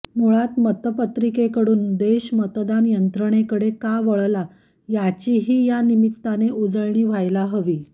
मूळात मतपत्रिकेकडून देश मतदान यंत्रणेकडे का वळला याचीही या निमित्ताने उजळणी व्हायला हवी